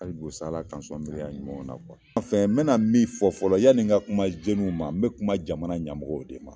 Abu sa ala kan sɔn miliyari ɲumanw na kuwa an fɛn n bena min fɔ fɔlɔ yani n ka kuma zenu ma n be kuma jamana ɲamɔgɔw yɛrɛ de ma